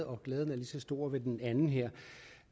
og glæden er lige så stor ved den anden her